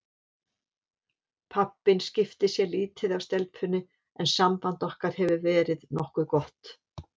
Pabbinn skiptir sér lítið af stelpunni en samband okkar hefur verið nokkuð gott.